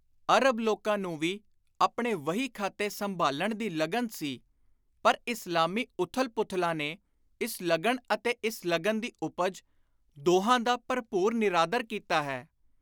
ਅਰਬ ਲੋਕਾਂ ਨੂੰ ਵੀ ਆਪਣੇ ਵਹੀ ਖਾਤੇ ਸੰਭਾਲਣ ਦੀ ਲਗਨ ਸੀ ਪਰ ਇਸਲਾਮੀ ਉਥਲ-ਪੂਥਲਾਂ ਨੇ ਇਸ ਲਗਨ ਅਤੇ ਇਸ ਲਗਨ ਦੀ ਉਪਜ, ਦੋਹਾਂ ਦਾ ਭਰਪੁਰ ਨਿਰਾਦਰ ਕੀਤਾ ਹੈ।